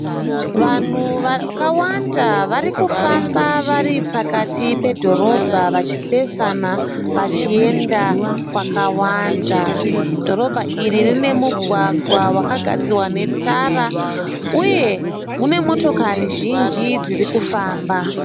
Vanhu vakawanda varikufamba varipakati pedhorobha vachipesana vachienda kwakawanda. Dhorobha iri rine mugwagwa wakagadzirwa netara uye mune motokari zhinji dzirikufamba.